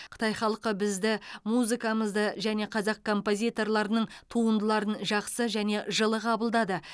қытай халқы бізді музыкамызды және қазақ композиторларының туындыларын жақсы және жылы қабылдады